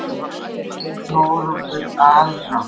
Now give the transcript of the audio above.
Þetta segir Þórólfur alrangt.